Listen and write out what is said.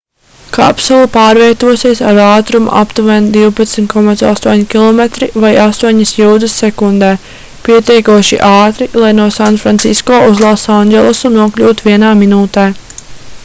kapsula pārvietosies ar ātrumu aptuveni 12,8 km vai 8 jūdzes sekundē pietiekoši ātri lai no sanfrancisko uz losandželosu nokļūtu vienā minūtē